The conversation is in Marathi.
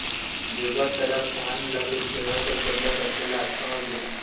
जेव्हा त्याला तहान लागली तेव्हा तो जंगलात असलेल्या आश्रमात गेला